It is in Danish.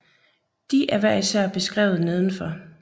De er hver især beskrevet nedenfor